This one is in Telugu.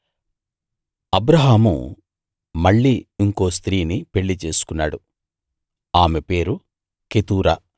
అబ్రాహాము మళ్ళీ ఇంకో స్త్రీని పెళ్ళి చేసుకున్నాడు ఆమె పేరు కెతూరా